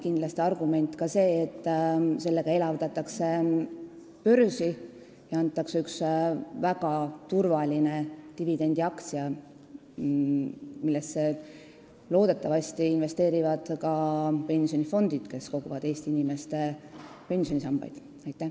Kindlasti on argument ka see, et selle sammuga me elavdame börsi ja tekitame ühe väga turvalise dividendiaktsia, millesse loodetavasti investeerivad ka pensionifondid, kes koguvad Eesti inimeste pensionisammaste raha.